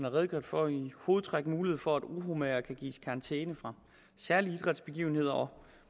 redegjort for i hovedtræk mulighed for at uromagere kan gives karantæne fra særlige idrætsbegivenheder og